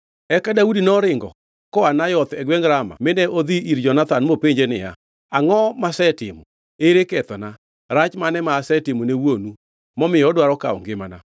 Eka Daudi noringo koa Nayoth e gwengʼ Rama mine odhi ir Jonathan mopenje niya, “Angʼo masetimo? Ere kethona? Rach mane ma asetimo ne wuonu, momiyo odwaro kawo ngimana?”